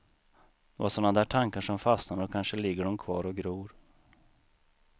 Det var såna där tankar som fastnade och kanske ligger de kvar och gror.